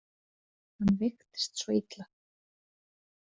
Hann veiktist svo illa.